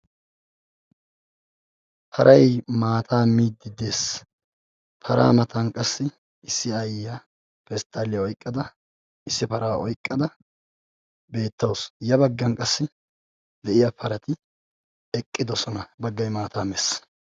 paray maata miide dees. para matan qassi issi aayyiyaa pesttaliyaa oyqqada issi para oyqqada beetawus. ya baggan qassi de'iya parati eqqidoosona, baggay maata mees.